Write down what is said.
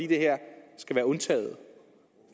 det her skal være undtaget